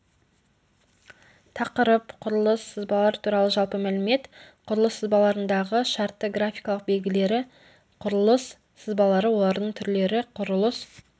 тақырып құрылыс сызбалар туралы жалпы мәлімет құрылыс сызбаларындағы шартты графикалық белгілері құрылыс сызбалары олардың түрлері құрылыс